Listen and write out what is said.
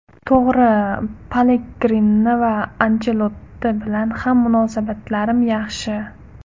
To‘g‘ri, Pellegrini va Anchelotti bilan ham munosabatlarim yaxshi.